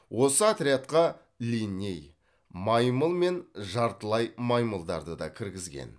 осы отрядқа линней маймыл мен жартылай маймылдарды да кіргізген